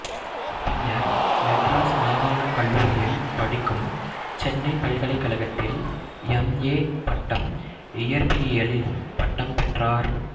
பின்னர் மெட்ராஸ் மாகாணக் கல்லூரியில் படிக்கும் சென்னைப் பல்கலைக்கழகத்தில் எம் ஏ பட்டம் இயற்பியலில் பட்டம் பெற்றார்